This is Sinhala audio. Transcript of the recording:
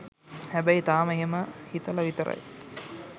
හැබැයි තාම එහෙම හිතල විතරයි